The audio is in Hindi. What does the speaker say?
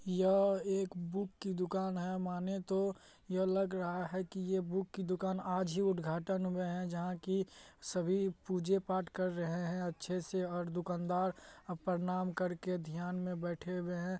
यह एक बुक की दुकान है माने तो यह लग रहा है की ये बुक की दुकान आज ही उद्घाटन हुआ है जहाँ की सभी पूजे पाठ कर रहे है अच्छे से और दुकानदार अब प्रणाम करके ध्यान में बैठे हुए है।